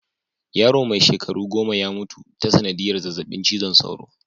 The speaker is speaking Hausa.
Yaro mai shekaru goma ya mutu ta sanadiyar zazzabin cizon soro.